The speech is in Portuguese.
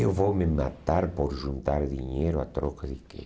Eu vou me matar por juntar dinheiro a troca de quê?